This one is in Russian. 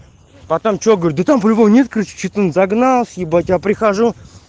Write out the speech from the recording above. потом что говорит он выполнит кричит он загнал ибать я прихожу